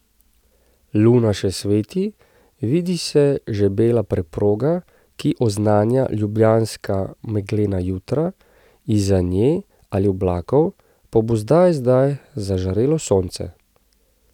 Luna še sveti, vidi se že bela preproga, ki oznanja ljubljanska meglena jutra, izza nje ali oblakov pa bo zdaj zdaj zažarelo sonce.